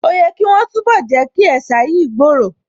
Ó yẹ̀ kí wọ́n túnbọ̀ Jẹ́kí ẹ̀sà yìí gbòòrò